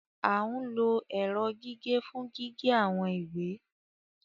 A ń lo ẹrọ gige fun gige awọn iwe